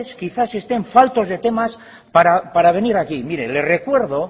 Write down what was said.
quizás estén faltos de temas para venir aquí mire le recuerdo